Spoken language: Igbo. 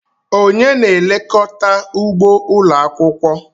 Onye na-elekọta ugbo ụlọ akwụkwọ?